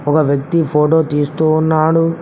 ఒక వ్యక్తి ఫోటో తీస్తూ ఉన్నాడు.